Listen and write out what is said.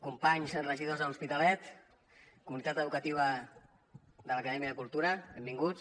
companys regidors de l’hospitalet comunitat educativa de l’acadèmia cultura benvinguts